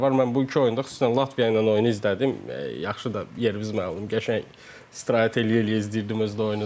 Mən bu iki oyunda xüsusən Latviya ilə oyunu izlədim, yaxşı da yerimiz məlum qəşəng streç eləyə-eləyə izləyirdim öz də oyunu da.